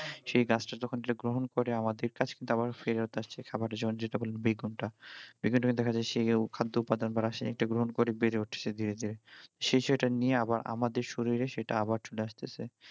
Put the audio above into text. সেই গাছটা যখন যেটা গ্রহণ করে আমাদের কাছে ওটা আবার ফেরত আসছে বেগুনটা সে খাদ্য উপাদান বা রাসায়নিকটা গ্রহণ করে বেড়ে উঠছে ধীরে ধীরে সেই হিসেবে এটা নিয়ে আবার আমাদের শরীরে সেটা আবার চলে আসতেছে